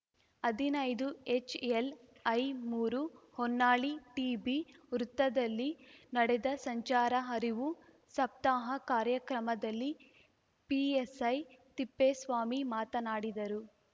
ಹದಿನೈದುಎಚ್‌ಎಲ್‌ಐಮೂರು Honnali TB ವೃತ್ತದಲ್ಲಿ ನಡೆದ ಸಂಚಾರ ಅರಿವು ಸಪ್ತಾಹ ಕಾರ್ಯಕ್ರಮದಲ್ಲಿ ಪಿಎಸೈ ತಿಪ್ಪೇಸ್ವಾಮಿ ಮಾತನಾಡಿದರು